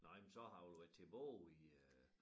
Nå jamen så har det vel været tilbage i øh